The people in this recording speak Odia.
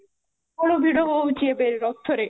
ପ୍ରବଳ ଭିଡ଼ ହୋଉଛି ରଥରେ